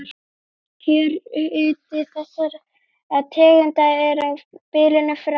Kjörhiti þessara tegunda er á bilinu frá